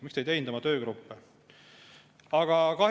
Miks te ei teinud oma töögruppe?